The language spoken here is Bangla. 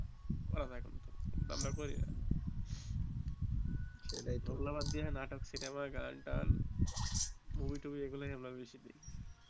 করা যাই কিন্তু আমারা করি না সেটাই টো অগুলা বাদ দিয়ে নাটক সিনেমা গান টান মুভি টুভি এগুলাই আমারা বেশি দেখি